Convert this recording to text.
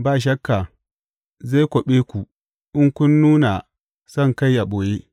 Ba shakka zai kwaɓe ku in kun nuna sonkai a ɓoye.